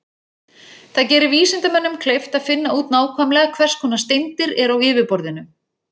Það gerir vísindamönnum kleift að finna út nákvæmlega hvers konar steindir eru á yfirborðinu.